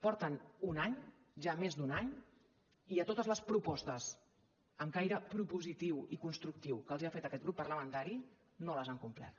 porten un any ja més d’un any i totes les propostes amb caire propositiu i constructiu que els ha fet aquest grup parlamentari no les han complert